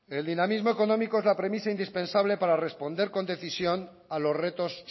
el dinamismo económico es la premisa indispensable para responder con decisión a los retos